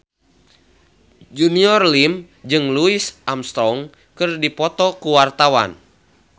Junior Liem jeung Louis Armstrong keur dipoto ku wartawan